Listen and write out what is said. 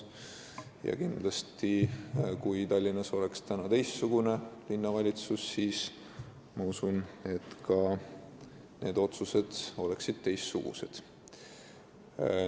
Ma usun, et kui Tallinnas oleks praegu teistsugune linnavalitsus, siis oleksid ka need otsused teistsugused.